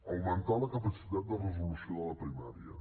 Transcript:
augmentar la capacitat de resolució de la primària